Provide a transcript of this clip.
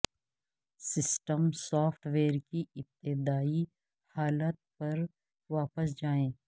system software کی ابتدائی حالت پر واپس جائیں